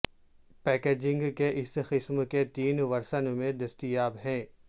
packaging کے اس قسم کے تین ورژن میں دستیاب ہے